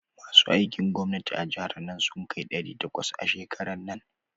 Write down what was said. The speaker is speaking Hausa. Masu aikin gwamnati a jihar nan sun kai ɗari takwas a shekaran nan.